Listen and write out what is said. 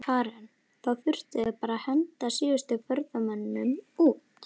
Karen: Þá þurftuð þið að henda bara síðustu ferðamönnunum út?